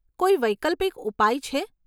કોઈ વૈકલ્પિક ઉપાય છે?